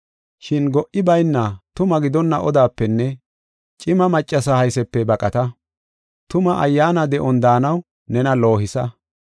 Shin go77i bayna tuma gidonna odapenne cima maccasa haysepe baqata. Tuma ayyaana de7on daanaw nena loohisa.